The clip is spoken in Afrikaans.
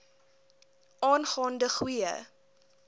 aangaan de goeie